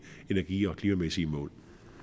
energi og klimamæssige mål